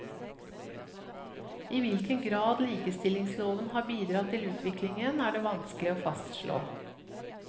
I hvilken grad likestillingsloven har bidratt til utviklingen, er det vanskelig å fastslå.